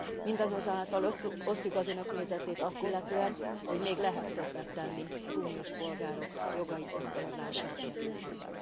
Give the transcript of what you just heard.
Mindazonáltal osztjuk az Önök nézetét azt illetően, hogy még lehet többet tenni az uniós polgárok jogai gyakorlása érdekében.